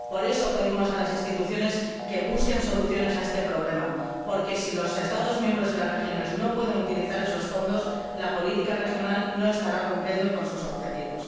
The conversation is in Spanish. Por eso, pedimos a las instituciones que busquen soluciones a este problema, porque, si los Estados miembros y las regiones no pueden utilizar esos fondos, la política regional no estará cumpliendo con sus objetivos.